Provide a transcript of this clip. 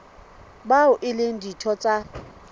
bao e leng ditho tsa